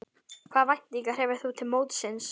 Hvaða væntingar hefur þú til mótsins?